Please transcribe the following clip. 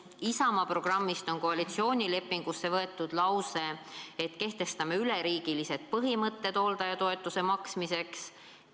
Isamaa programmist on koalitsioonilepingusse võetud lause, et kehtestate üleriigilised põhimõtted hooldajatoetuse maksmiseks.